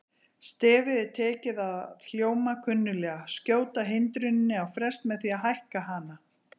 Stefið er tekið að hljóma kunnuglega: skjóta hindruninni á frest með því að hækka hana.